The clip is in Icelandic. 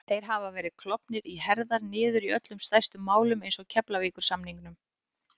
Þeir hafa verið klofnir í herðar niður í öllum stærstu málunum eins og Keflavíkursamningnum